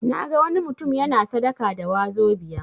Naga wani mutum yana sadaka da 'wazobia'.